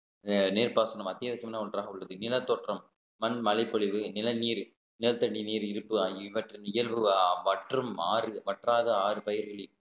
அஹ் நீர்ப்பாசனம் அத்தியாவசியமான ஒன்றாக உள்ளது இனத்தோற்றம் மண் மழைப்பொழிவு நிலநீர் நிலத்தடி நீர் இருப்பு ஆகியவற்றின் இயல்பு மற்றும் ஆறு வற்றாத ஆறு பயிர்களின்